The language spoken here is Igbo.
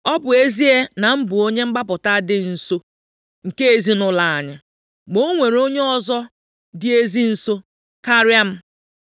Ọ bụ ezie na m bụ onye mgbapụta dị nso nke ezinaụlọ anyị, ma o nwere onye ọzọ dị ezi nso karịa m.